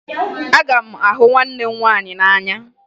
Aga m ahụ nwanne m nwaanyị n'anya